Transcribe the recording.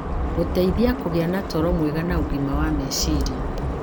gũteithagia kũgĩa na toro mwega na ũgima wa meciria.